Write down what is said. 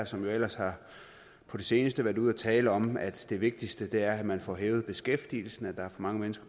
som ellers på det seneste har været ude at tale om at det vigtigste er at man får hævet beskæftigelsen at der er for mange mennesker